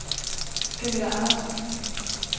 Kamilla Andersson